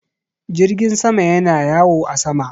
Jirgin sama yana yawo a sama.